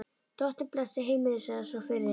Drottinn blessi heimilið, sagði sá fyrri.